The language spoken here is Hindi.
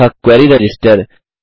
अतः क्वेरी रजिस्टर